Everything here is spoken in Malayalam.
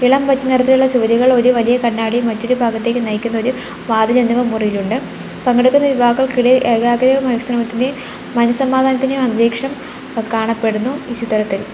ഇളം പച്ച നിറത്തിലുള്ള ചുമരുകൾ ഒരു വലിയ കണ്ണാടിയും മറ്റൊരു ഭാഗത്തേക്ക് നയിക്കുന്ന ഒരു വാതിൽ എന്നിവ മുറിയിൽ ഉണ്ട് പങ്കെടുക്കുന്ന യുവാക്കൾക്കിടയിൽ ഏകാഗ്രത മാനശ്രമത്തിന്റെയും മനസമാധാനത്തിന്റെയും അന്തരീക്ഷം കാണപ്പെടുന്നു ഈ ചിത്രത്തിൽ.